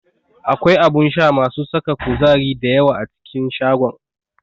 Akwai abun sha masu saka kuzari da yawa a cikin shagon.